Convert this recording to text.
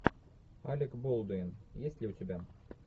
алек болдуин есть ли у тебя